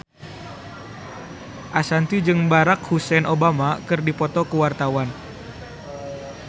Ashanti jeung Barack Hussein Obama keur dipoto ku wartawan